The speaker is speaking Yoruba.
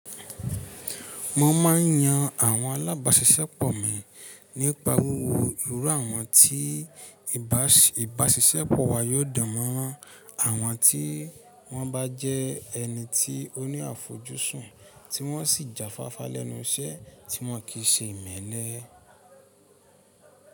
Mo ma n yan àwọn alábàáṣiṣẹ́pọ̀ mi nípa wúwo irú àwọn tí ìbáṣiṣẹ́pọ̀ wa yóò dánmọ́rán àwọn tí wọ́n bá jẹ́ ẹni tí oní àfojúsùn tí wọ́n sì jáfáfá lẹ́nu iṣẹ́ tí wọn kì í ṣe imẹ́lẹ́.